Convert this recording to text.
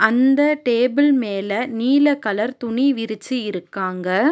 அந்த டேபிள் மேல நீல கலர் துணி விரிச்சி இருக்காங்க.